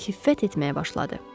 Hiffət etməyə başladı.